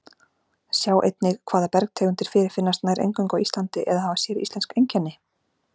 Sjá einnig Hvaða bergtegundir fyrirfinnast nær eingöngu á Íslandi eða hafa séríslensk einkenni?